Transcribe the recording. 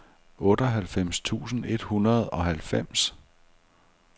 otteoghalvfems tusind et hundrede og halvfems